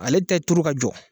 Ale tɛ turu ka jɔ